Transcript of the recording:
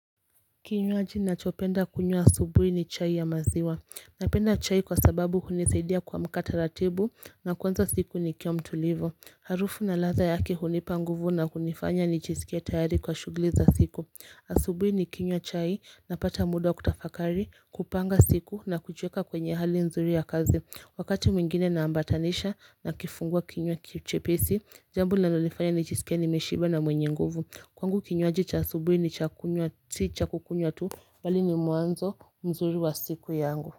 Kinywaji na chopenda kunywa asubuhi ni chai ya maziwa Napenda chai kwa sababu hunisaidia kuamkata ratibu na kuanza siku nikiwa mtulivu Harufu na ladha yake hunipa nguvu na kunifanya nijisikie tayari kwa shughuli za siku Asubuhi ni kinywa chai na pata muda wakutafakari kupanga siku na kujiweka kwenye hali nzuri ya kazi Wakati mwingine naambatanisha na kifungua kinywa chepesi Jambo linalonifanya nijisikie ni meshiba na mwenye nguvu Kwangu kinywaji cha asubuhi sicha kukunywa tu bali ni mwanzo mzuri wa siku yangu.